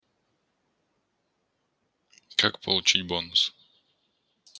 как получить бонус